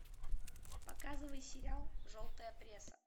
показывай сериал желтая пресса